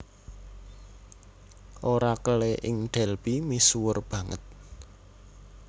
Orakelé ing Delphi misuwur banget